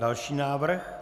Další návrh?